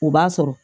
O b'a sɔrɔ